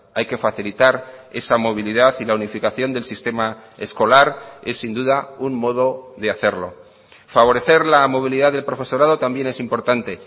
hay que facilitar esa movilidad y la unificación del sistema escolar es sin duda un modo de hacerlo favorecer la movilidad del profesorado también es importante